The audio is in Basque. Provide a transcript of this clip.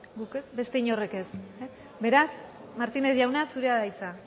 zuek ez beste inorrek ez beraz martínez jauna zurea da hitza